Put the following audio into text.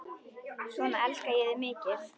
Svona elska ég þig mikið.